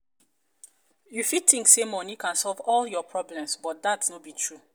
you fit think say money can solve all your problems but dat no be true.